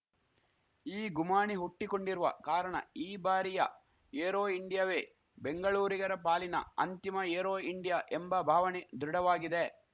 ಈ ಗುಮಾಣಿ ಹುಟ್ಟಿಕೊಂಡಿರುವ ಕಾರಣ ಈ ಬಾರಿಯ ಏರೋ ಇಂಡಿಯಾವೇ ಬೆಂಗಳೂರಿಗರ ಪಾಲಿನ ಅಂತಿಮ ಏರೋ ಇಂಡಿಯಾ ಎಂಬ ಭಾವಣೆ ದೃಢವಾಗಿದೆ